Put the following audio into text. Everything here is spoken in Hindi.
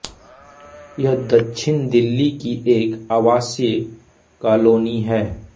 यह दक्षिण दिल्ली की एक आवासीय कालोनी है